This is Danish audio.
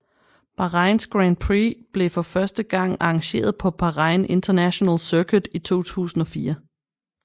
Bahrains Grand Prix blev for første gang arrangeret på Bahrain International Circuit i 2004